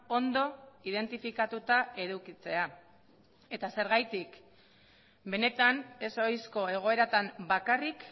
ondo identifikatuta edukitzea eta zergatik benetan ez ohizko egoeratan bakarrik